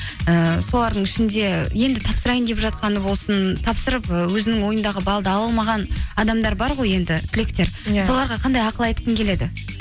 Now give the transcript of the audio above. ііі солардың ішінде енді тапсырайын деп жатқаны болсын тапсырып і өзінің ойындағы балды ала алмаған адамдар бар ғой енді түлектер иә соларға қандай ақыл айтқың келеді